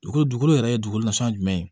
Dugukolo dugukolo yɛrɛ dugukolo nasuguya jumɛn ye